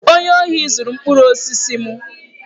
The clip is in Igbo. Onye ohi zuru mkpụrụ osisi m.